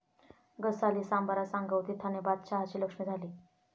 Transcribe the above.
गसाली, सांबरा, सांगव तिथाने बादशहाची लक्ष्मी झाली....